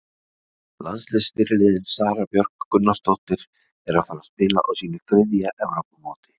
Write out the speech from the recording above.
Landsliðsfyrirliðinn Sara Björk Gunnarsdóttir er að fara að spila á sínu þriðja Evrópumóti.